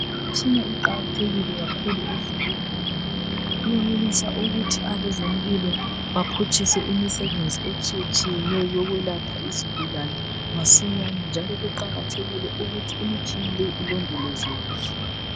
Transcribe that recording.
Imitshina iqakathekile kakhulu esibhedlela ngoba iyenelisa ukuthi abezempilo baphutshise imisebenzi etshiyeneyo eyokwelapha izigulane masinyane njalo kuqakathekile ukuthi imitshina leyi ilondolozwe kuhle.